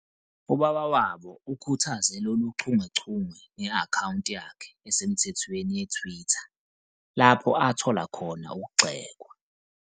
Ubaba wabo ukhuthaze lolu chungechunge nge- akhawunti yakhe esemthethweni ye-Twitter, lapho athola khona ukugxekwa.